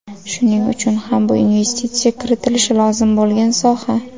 Shuning uchun ham bu investitsiya kiritilishi lozim bo‘lgan soha.